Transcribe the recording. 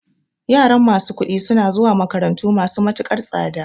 Yaran masu kuɗi suna zuwa makarantu masu matukar tsada